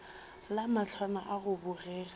le mahlwana a go bogega